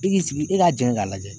I k'i sigi, e k'a jɛn k'a lajɛ.